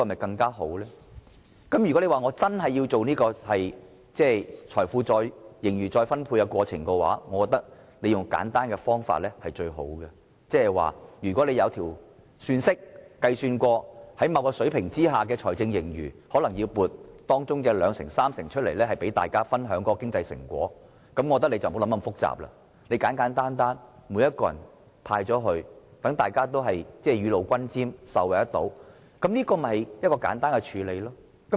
但是，如果司長真的要進行盈餘再分配，我覺得用簡單的方法是最好的，即是透過算式運算，如果出現某水平的財政盈餘，可能撥出當中的兩三成，讓大家分享經濟成果，我覺得不宜想得太複雜，簡簡單單，每個人也分享一部分，讓大家雨露均霑，人人受惠，簡單處理便可。